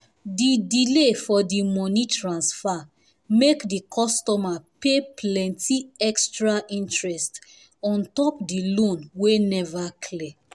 the delay for the money transfer make the customer pay plenty extra interest on top the loan wey never clear